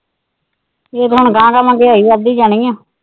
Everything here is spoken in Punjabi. ਇਹ ਤਾਂ ਹੁਣ ਗਾਹ ਗਾਹ ਮਹਿੰਗਾਈ ਵਧਦੀ ਜਾਣੀ ਆ।